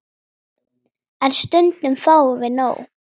En stundum fáum við nóg.